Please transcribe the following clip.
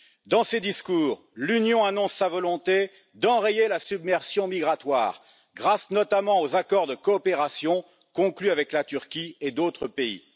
Dans ses discours, l'Union annonce sa volonté d'enrayer la submersion migratoire grâce, notamment, aux accords de coopération conclus avec la Turquie et d'autres pays.